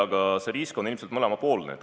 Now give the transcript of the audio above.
Aga see risk on ilmselt mõlemapoolne.